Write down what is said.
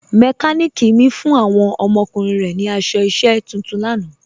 Mẹkàníkì mi fún awọn ọmọkùnrin rẹ̀ ni aṣọ iṣẹ̀ tuntun lànà.